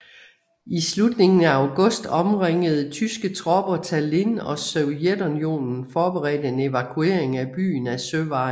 I slutningen af august omringede tyske tropper Tallinn og Sovjetunionen forberedte en evakuering af byen ad søvejen